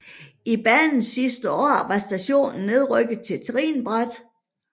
I banens sidste år var stationen nedrykket til trinbræt